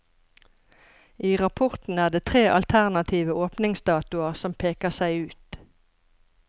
I rapporten er det tre alternative åpningsdatoer som peker seg ut.